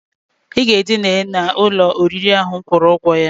I ga-edina n'ụlọ oriri ahụ m kwụrụ ụgwọ ya!